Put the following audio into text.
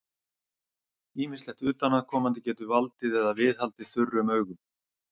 Ýmislegt utanaðkomandi getur valdið eða viðhaldið þurrum augum.